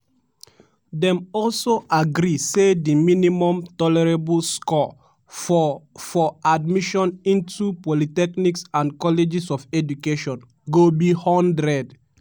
dem also agree say di minimum tolerable score for for admission into polytechnics and colleges of education go be 100.